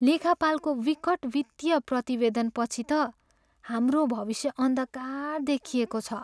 लेखापालको विकट वित्तीय प्रतिवेदनपछि त हाम्रो भविष्य अन्धकार देखिएको छ।